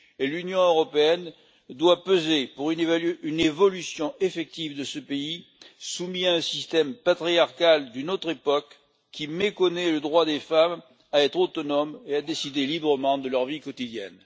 L'Union européenne doit peser pour une évolution effective de ce pays, soumis à un système patriarcal d'une autre époque qui méconnaît le droit des femmes à être autonomes et à décider librement de leur vie quotidienne.